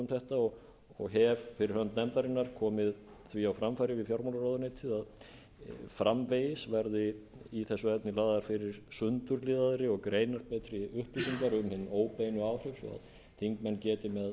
þetta og hef fyrir hönd nefndarinnar komið því á framfæri við fjármálaráðuneytið að framvegis verði í þessu efni lagðar fyrir sundurliðaðri og greinarbetri upplýsingar um hin óbeinu áhrif